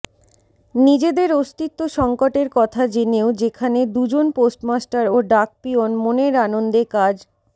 নিজেদের অস্তিত্ব সঙ্কটের কথা জেনেও যেখানে দুজন পোস্টমাস্টার ও ডাকপিয়ন মনের আনন্দে কাজ